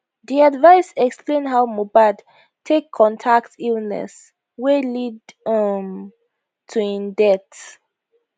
di advice explain how mohbad take contact illness wey lead um to im death